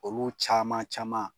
Olu caaman caman